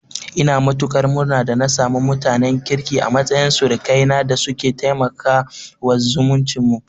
Ina matuƙar murna da na samu mutanen kirki a matsayin surukaina da suke taimakawa zumuncin mu.